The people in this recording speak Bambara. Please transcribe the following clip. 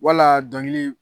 Walaa dɔnkiliw